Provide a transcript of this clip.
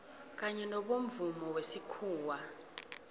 kanye nobomvumo wesikhuwa